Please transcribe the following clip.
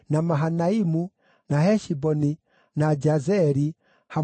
na Heshiboni, na Jazeri, hamwe na ũrĩithio wamo.